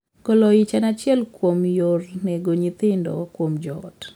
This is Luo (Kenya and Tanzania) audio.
Golo ich en achiel kuom yor nego nyithindo kuom joot.